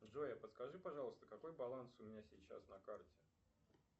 джой а подскажи пожалуйста какой баланс у меня сейчас на карте